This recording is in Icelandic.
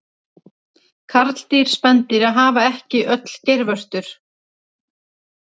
Karldýr spendýra hafa ekki öll geirvörtur.